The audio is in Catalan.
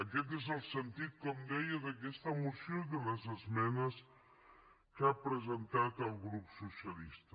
aquest és el sentit com deia d’aquesta moció i de les esmenes que ha presentat el grup socialista